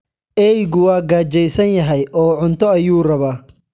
Eeygu waa gaajaysan yahay oo cunto ayuu rabaa.